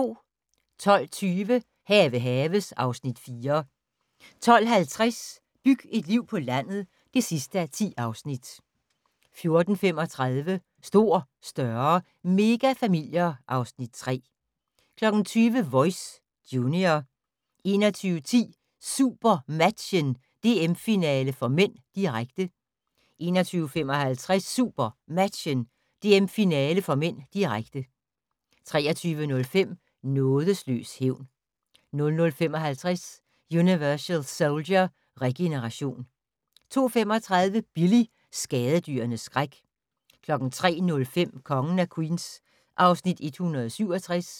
12:20: Have haves (Afs. 4) 12:50: Byg et liv på landet (10:10) 14:35: Stor, større - megafamilier (Afs. 3) 20:00: Voice - junior 21:10: SuperMatchen: DM-finale (m), direkte 21:55: SuperMatchen: DM-finale (m), direkte 23:05: Nådeløs hævn 00:55: Universal Soldier: Regeneration 02:35: Billy - skadedyrenes skræk 03:05: Kongen af Queens (Afs. 167)